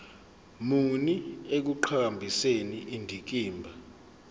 muni ekuqhakambiseni indikimba